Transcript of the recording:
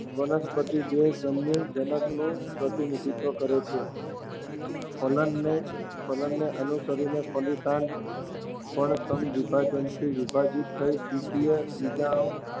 વનસ્પતિ દેહ જન્યુજનકનું પ્રતિનિધિત્વ કરે છે. ફલનને અનુસરીને ફલિતાંડ પણ સમવિભાજનથી વિભાજિત થઈ દ્વિકીય બીજાણુ